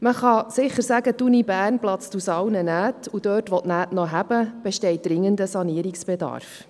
Man kann sicher sagen, dass die Universität Bern aus allen Nähten platzt, und dort, wo die Nähte noch halten, besteht dringender Sanierungsbedarf.